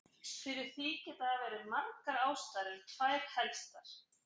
Fyrir því geta verið margar ástæður en tvær helstar.